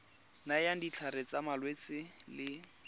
nayang ditlhare tsa malwetse le